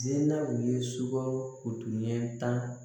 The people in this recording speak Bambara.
Zenaw ye sukaro kuruɲɛ tan